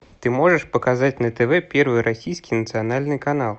ты можешь показать на тв первый российский национальный канал